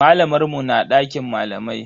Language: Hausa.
Malamar mu na dakin malamai.